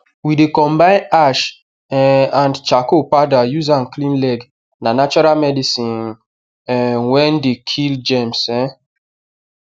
we dey combine ash um and charcoal powder use am clean leg na natural medicine um wer dey kill germs um